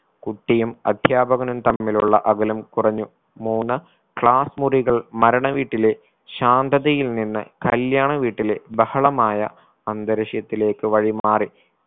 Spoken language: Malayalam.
കുട്ടിയും അധ്യാപകനും തമ്മിലുള്ള അകലം കുറഞ്ഞു മൂന്ന് class മുറികൾ മരണ വീട്ടിലെ ശാന്തതയിൽ നിന്ന് കല്യാണ വീട്ടിലെ ബഹളമായ അന്തരീക്ഷത്തിലേക്ക് വഴിമാറി